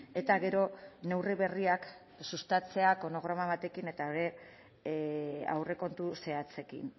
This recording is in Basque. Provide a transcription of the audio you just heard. eta gero neurri berriak sustatzea kronograma batekin eta ere aurrekontu zehatzekin